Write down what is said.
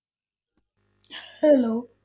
Hello